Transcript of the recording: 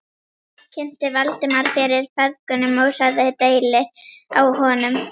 Ég kynnti Valdimar fyrir feðgunum og sagði deili á honum.